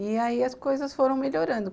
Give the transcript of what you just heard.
E aí as coisas foram melhorando.